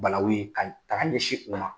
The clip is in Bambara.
Balawu in, k'a ta k'a ɲɛsi u ma.